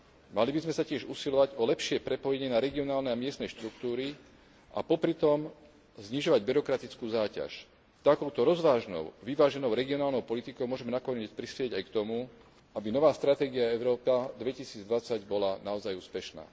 Mali by sme sa tiež usilovať o lepšie prepojenie na regionálne a miestne štruktúry a popritom znižovať byrokratickú záťaž. Takouto rozvážnou, vyváženou regionálnou politikou môžeme nakoniec prispieť aj k tomu, aby nová stratégia Európa 2020 bola naozaj úspešná.